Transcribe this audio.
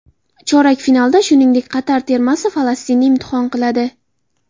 Chorak finalda, shuningdek, Qatar termasi Falastinni imtihon qiladi.